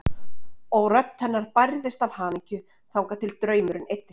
Og rödd hennar bærðist af hamingju þangað til draumurinn eyddist.